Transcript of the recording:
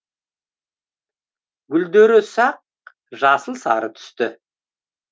гүлдері ұсақ жасыл сары түсті